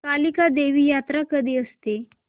कालिका देवी यात्रा कधी असते